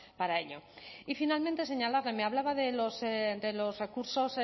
para ello y finalmente señalarle me hablaba de los recursos